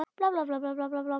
Þín Inga Þóra.